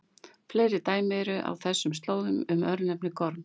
Fleiri dæmi eru á þessum slóðum um örnefnið Gorm.